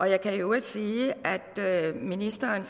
jeg kan i øvrigt sige at ministeren